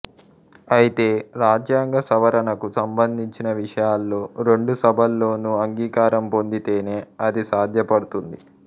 అయితే రాజ్యాంగ సవరణకు సంబంధించిన విషయాల్లో రెండు సభల్లోనూ అంగీకారం పొందితేనే అది సాధ్యపడుతుంది